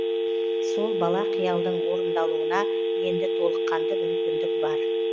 сол бала қиялдың орындалуына енді толыққанды мүмкіндік бар